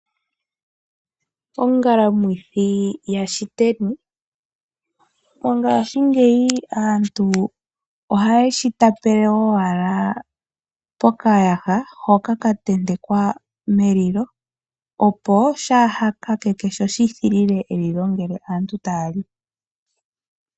Ongalamwithi yaShiteni, mongashingeyi aantu ohaye shi tapele owala pokayaha hoka ka tentekwa melilo, opo shaa ha kakeke sho shi thilile elilo ngele aantu taya li.